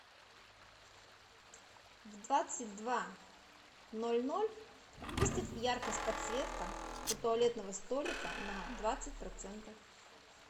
в двадцать два ноль ноль выставь яркость подсветка у туалетного столика на двадцать процентов